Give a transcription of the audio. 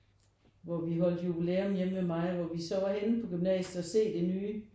Hvor vi holdte jubilæum hjemme ved mig hvor vi så var henne på gymnasiet og se det nye